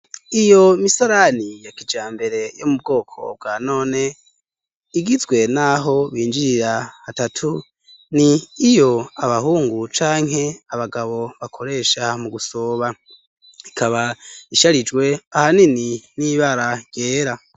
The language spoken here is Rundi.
Iyo misarani yakija mbere yo mu bwoko bwa none igizwe, naho binjira atatu ni iyo abahungu canke abagabo bakoresha mu gusoba ikaba isharijwe ahanini n'ibara yera.